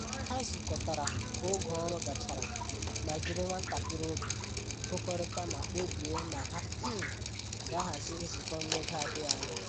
Ha zụkọtara ka oge ọrụ gachara ma jiri nwantakịrị oge gụkọrịta ma kpebie na ha um ga-ahazi nzukọ n'oge adịghị anya